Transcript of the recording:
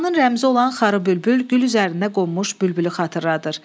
Şuşanın rəmzi olan xarı bülbül gül üzərində qonmuş bülbülü xatırladır.